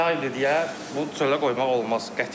Yaydır deyə bunu çölə qoymaq olmaz, qətiyyən.